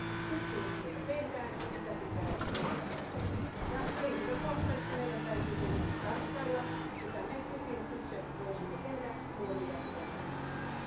Tutkimustyötä tehdään ja sitä pitää tehdä edelleen. Henkilökohtaisesti meidän täytyy tietysti tarkkailla mitä me kukin itse voisimme tehdä muovijätteen vähentämiseksi.